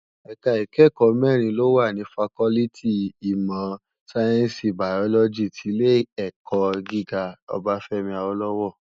Èká ikèékò mèrín ló wá ni fákòlìtí imò sáyènsí bàyólòjí ti Ilé èkò gigá Obafemi Awolowo